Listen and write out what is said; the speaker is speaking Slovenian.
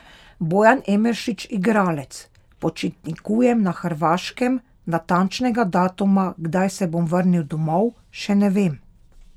Bojan Emeršič, igralec: "Počitnikujem na Hrvaškem, natančnega datuma, kdaj se bom vrnil domov, še ne vem.